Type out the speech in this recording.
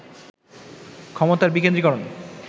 ক্ষমতার বিকেন্দ্রীকরণ